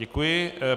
Děkuji.